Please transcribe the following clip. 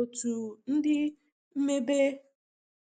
otu ndi mmebe